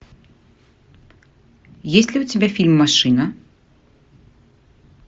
есть ли у тебя фильм машина